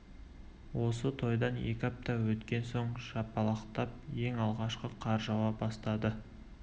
осы тойдан екі апта өткен соң жапалақтап ең алғашқы қар жауа бастады